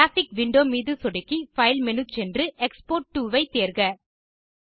graphic window மீது சொடுக்கி file menu சென்று எக்ஸ்போர்ட் டோ ஐ தேர்க